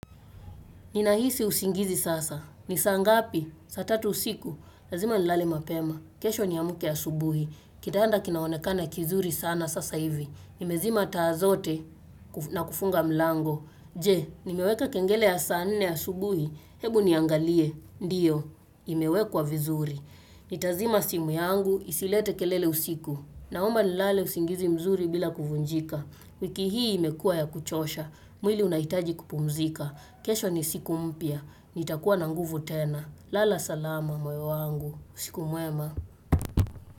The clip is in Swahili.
Ninahisi usingizi sasa. Ni saa ngapi? Saa tatu usiku. Lazima nilale mapema. Kesho niamke asubuhi. Kitanda kinaonekana kizuri sana sasa hivi. Nimezima taa zote na kufunga mlango. Je, nimeweka kengele ya saa nne asubuhi. Hebu niangalie. Ndiyo, imewekwa vizuri. Nitazima simu yangu, isilete kelele usiku. Naomba nilale usingizi mzuri bila kuvunjika. Wiki hii imekua ya kuchosha. Mwili unahitaji kupumzika. Kesho ni siku mpya. Nitakuwa na nguvu tena. Lala salama moyo wangu. Usiku mwema.